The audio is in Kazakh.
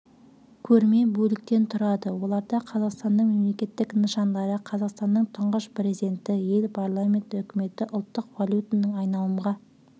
көрме бөліктен тұрады оларда қазақстанның мемлекеттік нышандары қазақстанның тұңғыш президенті ел парламенті үкіметі ұлттық валютаның айналымға